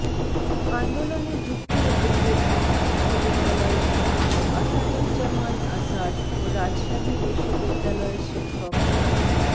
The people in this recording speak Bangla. আন্দোলনে যুক্ত হতে গিয়ে ঢাকা বিশ্ববিদ্যালয়ের ছাত্র আসাদুজ্জামান আসাদ ও রাজশাহী বিশ্ববিদ্যালয়ের শিক্ষক ড